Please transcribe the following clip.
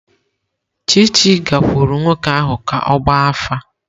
Chichi gakwuru nwoke ahu ka ogba afa.